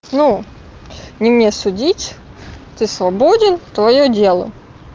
ну не мне судить ты свободен твоё дело